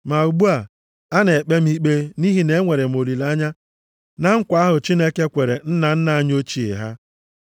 Ma ugbu a, a na-ekpe m ikpe nʼihi na enwere m olileanya na nkwa ahụ Chineke kwere nna nna anyị ochie ha.